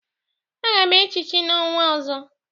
Aga m echichi n'ọnwa ọzọ.